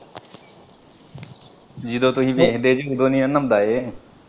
ਜਦੋਂ ਤੁਹੀਂ ਵੇਖਦੇ ਜੀ ਓਦੋਂ ਨੀ ਨਾ ਨਾਉਂਦਾ ਇਹ।